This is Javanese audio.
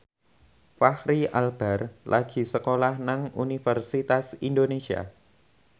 Fachri Albar lagi sekolah nang Universitas Indonesia